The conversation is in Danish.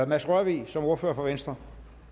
mads rørvig som ordfører for venstre